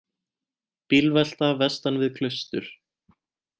Bílvelta vestan við Klaustur